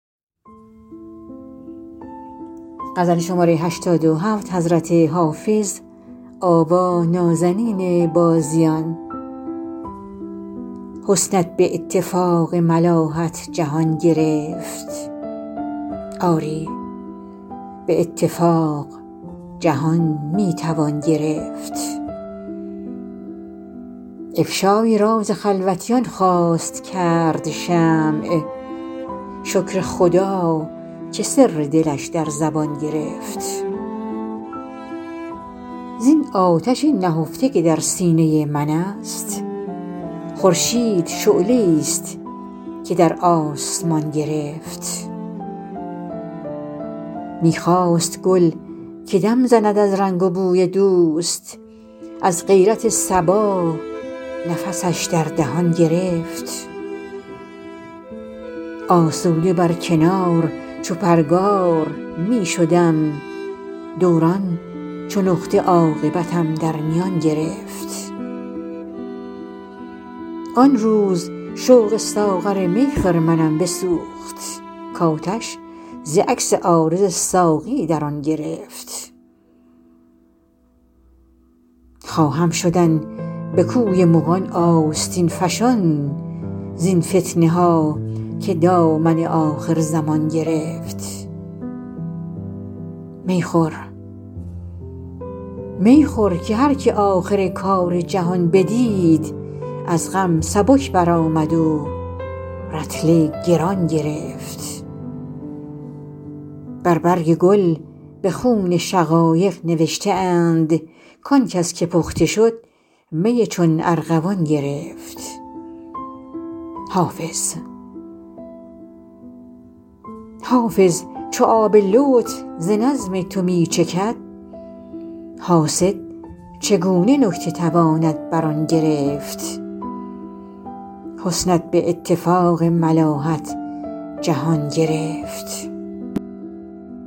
حسنت به اتفاق ملاحت جهان گرفت آری به اتفاق جهان می توان گرفت افشای راز خلوتیان خواست کرد شمع شکر خدا که سر دلش در زبان گرفت زین آتش نهفته که در سینه من است خورشید شعله ای ست که در آسمان گرفت می خواست گل که دم زند از رنگ و بوی دوست از غیرت صبا نفسش در دهان گرفت آسوده بر کنار چو پرگار می شدم دوران چو نقطه عاقبتم در میان گرفت آن روز شوق ساغر می خرمنم بسوخت کآتش ز عکس عارض ساقی در آن گرفت خواهم شدن به کوی مغان آستین فشان زین فتنه ها که دامن آخرزمان گرفت می خور که هر که آخر کار جهان بدید از غم سبک برآمد و رطل گران گرفت بر برگ گل به خون شقایق نوشته اند کآن کس که پخته شد می چون ارغوان گرفت حافظ چو آب لطف ز نظم تو می چکد حاسد چگونه نکته تواند بر آن گرفت